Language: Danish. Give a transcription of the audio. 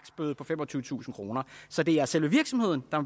bøde på femogtyvetusind kroner så det er selve virksomheden der